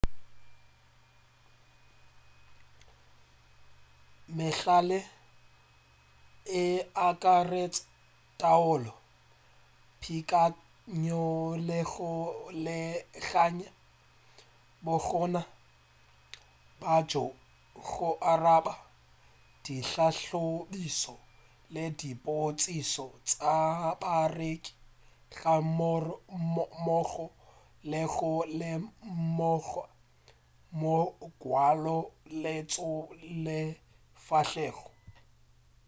mehlala e akaretša taolo peakanyo le go beakanya bokgoni bja go araba dihlahlobišo le dipotšišo tša bareki ga mmogo le go lemoga mongwalo lentšu le sefahlego